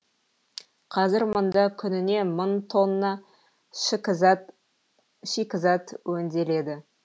қазір мұнда күніне мың тонна шикізат өңделеді